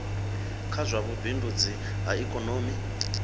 kha zwa vhubindudzi ha ikomoni